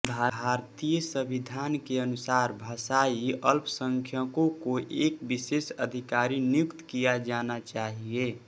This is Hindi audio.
भारतीय संविधान के अनुसार भाषाई अल्पसंख्यकों को एक विशेष अधिकारी नियुक्त किया जाना चाहिए